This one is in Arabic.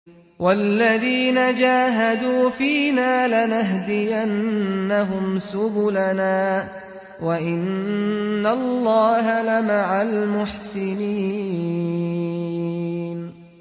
وَالَّذِينَ جَاهَدُوا فِينَا لَنَهْدِيَنَّهُمْ سُبُلَنَا ۚ وَإِنَّ اللَّهَ لَمَعَ الْمُحْسِنِينَ